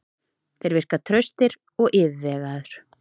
Þeir virka traustir og yfirvegaður.